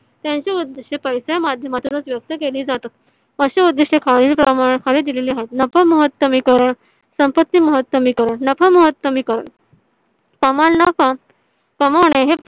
त्यांची उदिष्टे पैसीयच्या माध्यमातून व्यवस्थित केली जातात. अशी उदिष्टे खालीलप्रमाणे खाली दिलेली आहेत. नफा महतमी करण संपत्ति महतमी करण नफा महतमी करण कमविणे